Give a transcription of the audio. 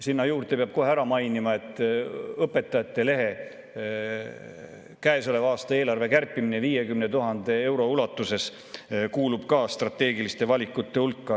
Sinna juurde peab kohe ära mainima, et Õpetajate Lehe käesoleva aasta eelarve kärpimine 50 000 euro ulatuses kuulub ka strateegiliste valikute hulka.